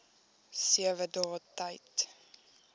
sewe dae tyd